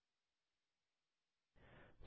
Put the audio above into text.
open पर click करें